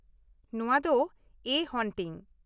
ᱱᱚᱶᱟ ᱫᱚ ' ᱮ ᱦᱚᱱᱴᱤᱝ ᱾